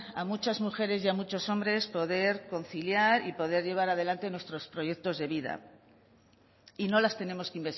a muchas mujeres y a muchos hombres poder conciliar y poder llevar adelante nuestros proyectos de vida y no las tenemos que